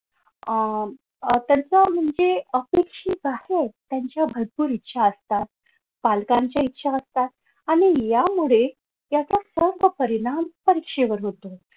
अह त्यांचं म्हणजे अपेक्षित आहे त्यांच्या भरपूर इच्छा असतात पालकांच्या इच्छा असतात आणि यामुळे याचा सर्व परिणाम परीक्षेवर होतो.